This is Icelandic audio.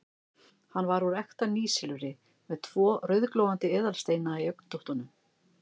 Hann var úr ekta nýsilfri, með tvo rauðglóandi eðalsteina í augntóttunum.